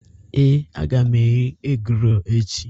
Ee, a ga m eri egi-rol echi.